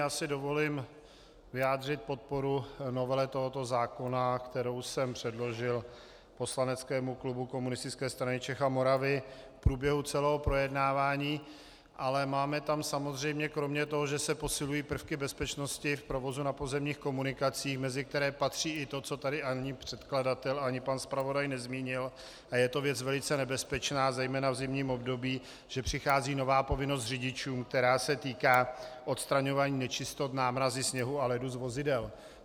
Já si dovolím vyjádřit podporu novele tohoto zákona, kterou jsem předložil poslaneckému klubu Komunistické strany Čech a Moravy v průběhu celého projednávání, ale máme tam samozřejmě kromě toho, že se posilují prvky bezpečnosti v provozu na pozemních komunikacích, mezi které patří i to, co tady ani předkladatel ani pan zpravodaj nezmínil, a je to věc velice nebezpečná zejména v zimním období, že přichází nová povinnost řidičů, která se týká odstraňování nečistot, námrazy, sněhu a ledu z vozidel.